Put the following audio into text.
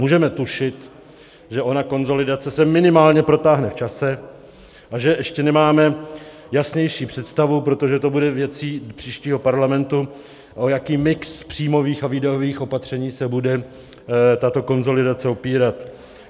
Můžeme tušit, že ona konsolidace se minimálně protáhne v čase a že ještě nemáme jasnější představu, protože to bude věcí příštího parlamentu, o jaký mix příjmových a výdajových opatření se bude tato konsolidace opírat.